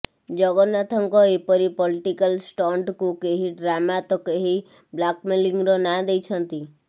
ଜଗନ୍ନାଥଙ୍କ ଏପରି ପଲ୍ଟିକାଲ ଷ୍ଟଣ୍ଟକୁ କେହି ଡ୍ରାମା ତ କେହି ବ୍ଲାକମେଲିଂର ନାଁ ଦେଇଛନ୍ତି